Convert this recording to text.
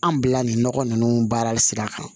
An bila nin nɔgɔ ninnu baara sira kan